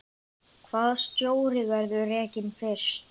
Hvaða stjóri verður rekinn fyrstur?